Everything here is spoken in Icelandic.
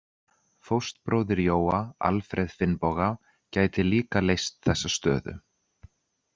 Fóstbróðir Jóa, Alfreð Finnboga, gæti líka leyst þessa stöðu.